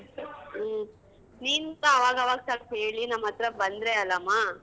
ಹ್ಮ್ ನೀನ್ಸ ಅವಗವಾಗ್ ಸ್ವಲ್ಪ ಹೇಳಿ ನಮ್ಮತ್ರ ಬಂದ್ರೆ ಅಲ್ಲಮ್ಮ.